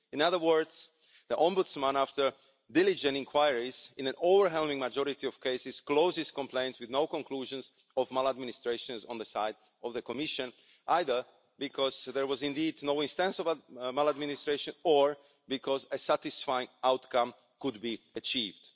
In other words, the Ombudsman, after diligent inquiries, in an overwhelming majority of cases, closes complaints with no conclusions of maladministration on the side of the Commission, either because there was indeed no instance of maladministration or because a satisfying outcome could be achieved.